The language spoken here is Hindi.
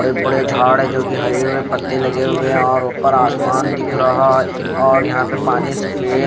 बड़े बड़े झाड़ है जो की हरे हुए पत्ते लगे हुए है और ऊपर आसमान दिख रहा है और यहाँ पर पानी सफ़ेद--